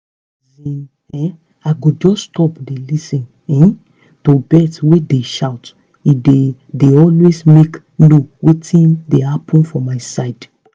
asin um i go just stop dey lis ten um to birds wey dey shout e dey dey aways mk know wetin dey happen for my side